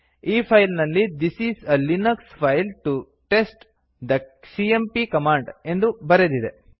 ಈ ಫೈಲ್ ನಲ್ಲಿ this is a Linux file to test the CMP command ಎಂದು ಬರೆದಿದೆ